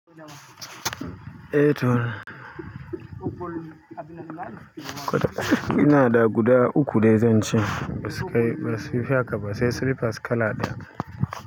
Eh to. Ina da guda uku dai zan ce. Ba su kai, ba su fi haka ba, sai slippers kala ɗaya.